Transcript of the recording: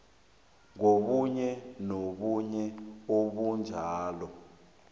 kobunye nobunye ubujamo